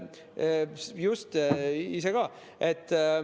Just, ma ise ka.